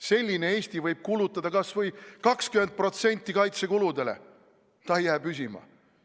Selline Eesti võib eraldada kas või 20% kaitsekuludeks, ta ei jää püsima.